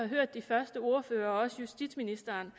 hørt de første ordførere og også justitsministeren